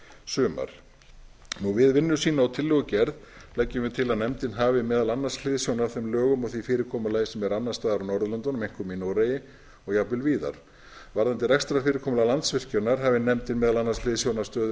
sumar við vinnu sína og tillögugerð leggjum við til að nefndin hafi meðal annars hliðsjón af þeim lögum og því fyrirkomulagi sem er annars staðar á norðurlöndunum einkum í noregi og jafnvel víðar varðandi rekstrarfyrirkomulag landsvirkjunar hafi nefndin meðal annars hliðsjón af stöðu